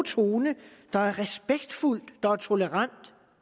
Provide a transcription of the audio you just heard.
tone der er respektfuldt der er tolerant